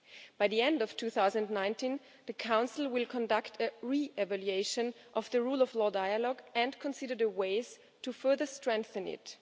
By the end of 2019 the Council will conduct a re-evaluation of the rule of law dialogue and consider ways to further strengthen it.